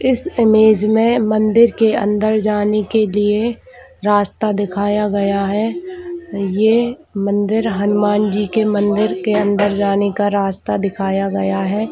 इस इमेज में मंदिर के अंदर जाने के लिए रास्ता दिखाया गया है ये मंदिर हनुमान जी के मंदिर के अंदर जाने का रास्ता दिखाया गया है।